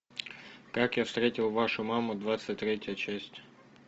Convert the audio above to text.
как я встретил вашу маму двадцать третья часть